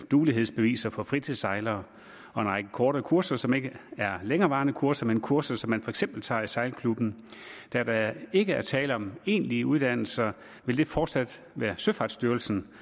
duelighedsbeviser for fritidssejlere og en række korte kurser som ikke er længerevarende kurser men kurser som man for eksempel tager i sejlklubben da der ikke er tale om egentlige uddannelser vil det fortsat være søfartsstyrelsen